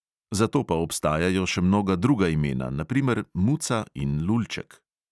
Za to pa obstajajo še mnoga druga imena, na primer muca in lulček.